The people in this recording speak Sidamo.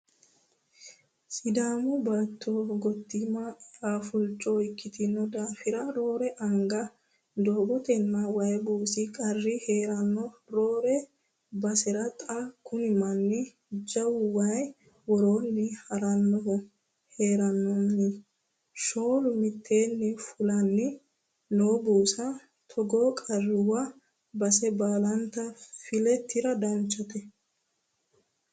Sidaami baatto gottima eafulcho ikkitino daafira roore anga doogotenna waayi buusa qarri heerano roore basera xa kuni manni jawu waayi worooni haranohu heerenanni shooli mitteenni fulanni no buusa ,togoo qarruwa base baallate file tira danchate.